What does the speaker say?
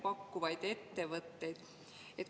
Paluks, äkki saab ministri korrale kutsuda?